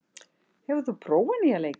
, hefur þú prófað nýja leikinn?